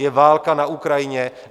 Je válka na Ukrajině.